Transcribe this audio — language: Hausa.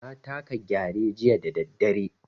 Na taka Gyare jiya da daddare.